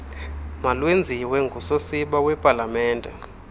malwenziwe ngusosiba wepalamente